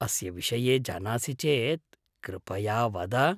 अस्य विषये जानासि चेत् कृपया वद?